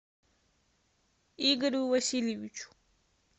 игорю васильевичу